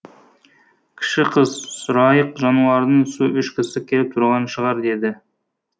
кіші қыз сұрайық жануардың су ішкісі келіп тұрған шығар деді